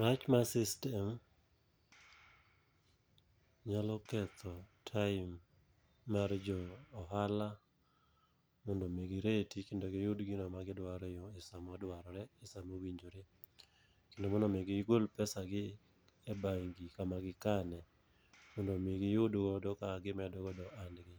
Rach mar sytem nyalo ketho time mar jo ohala, mondo mi gireti kendo giyud gino ma gidwaro e yo e sa modwarore e sa mowinjore. Kendo mondo mi gigol pesa gi e bengi kama gi kane, mondo mi giyud godo kaka gimedo godo ohandgi.